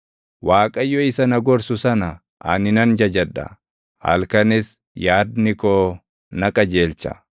Waaqayyo isa na gorsu sana ani nan jajadha; halkanis yaadni koo na qajeelcha.